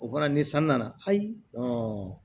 O bɔra ni san nana ayi